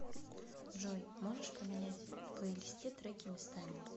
джой можешь поменять в плейлисте треки местами